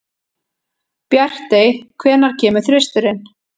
Bjartey, hvenær kemur þristurinn?